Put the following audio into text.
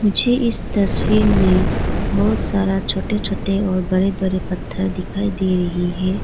मुझे इस तस्वीर में बहुत सारा छोटे छोटे और बड़े बड़े पत्थर दिखाई दे रही है।